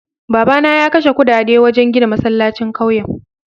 Babana ya kashe kudade wajen gina masallacin kauyen.